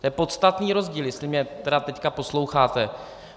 To je podstatný rozdíl, jestli mě tedy teď posloucháte.